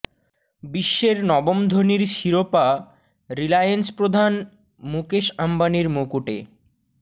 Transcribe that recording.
বিশ্বের নবম ধনীর শিরোপা রিলায়েন্স প্রধান মুকেশ আম্বানির মুকুটে